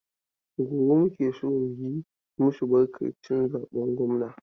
Gobe muke so mu yi masu barkan cin zaben gwamna.